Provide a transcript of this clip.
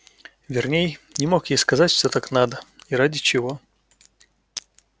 верней не мог ей сказать что так надо и ради чего